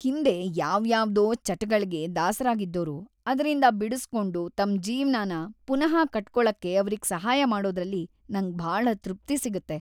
ಹಿಂದೆ ಯಾವ್ಯಾವ್ದೋ ಚಟಗಳ್ಗೆ ದಾಸರಾಗಿದ್ದೋರು ಅದ್ರಿಂದ ಬಿಡುಸ್ಕೊಂಡು ತಮ್ ಜೀವ್ನನ ಪುನಃ ಕಟ್ಕೊಳಕ್ಕೆ ಅವ್ರಿಗ್‌ ಸಹಾಯ ಮಾಡೋದ್ರಲ್ಲಿ ನಂಗ್‌ ಭಾಳ ತೃಪ್ತಿ ಸಿಗತ್ತೆ.